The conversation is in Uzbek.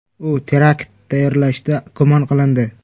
U terakt tayyorlashda gumon qilindi.